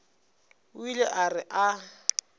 o ile a re a